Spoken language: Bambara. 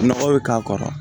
Nɔgɔ bɛ k'a kɔrɔ